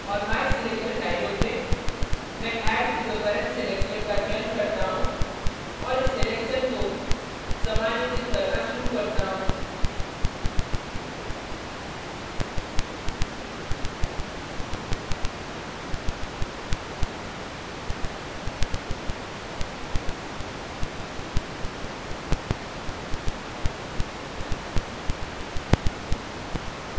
और my selection dialog में मैं add to the current selection का चयन करता हूँ और इस selection को समायोजित करना शुरू करता हूँ